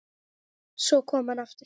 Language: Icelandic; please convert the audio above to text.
Svo kom hann aftur.